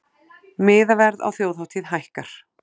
Miðaverð á þjóðhátíð hækkar